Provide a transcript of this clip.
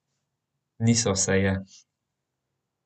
Niso se je!